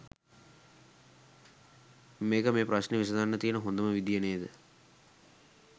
මේක මේ ප්‍රශ්නෙ විසඳන්න තියන හොඳම විදිය නේද?